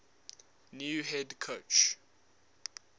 new head coach